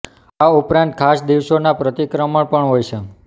આ ઉપરાંત ખાસ દિવસોનાં પ્રતિક્રમણ પણ હોય છે